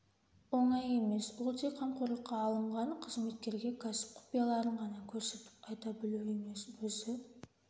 оңай емес ол тек қамқорлыққа алынған қызметкерге кәсіп құпияларын ғана көрсетіп айта білу емес өзі